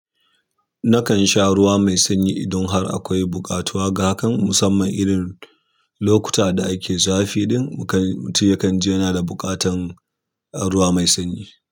Nakan sha ruwa mai sanyi idan har akwai buƙatuwa, gahakan musamman irin lokuta da ake zafi. Don mutum ya kan ji yana da buƙatan ruwa mai sanyi.